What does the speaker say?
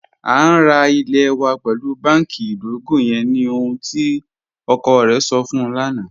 A n ra ilẹ̀ wa pẹlu bánkì idogo yẹn ni ohun tí ọkọ rẹ̀ sọ̀ fun ń lana